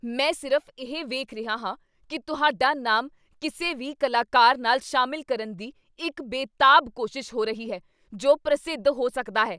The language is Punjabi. ਮੈਂ ਸਿਰਫ਼ ਇਹ ਵੇਖ ਰਿਹਾ ਹਾਂ ਕੀ ਤੁਹਾਡਾ ਨਾਮ ਕਿਸੇ ਵੀ ਕਲਾਕਾਰ ਨਾਲ ਸ਼ਾਮਿਲ ਕਰਨ ਦੀ ਇੱਕ ਬੇਤਾਬ ਕੋਸ਼ਿਸ਼ ਹੋ ਰਹੀ ਹੈ ਜੋ ਪ੍ਰਸਿੱਧ ਹੋ ਸਕਦਾ ਹੈ।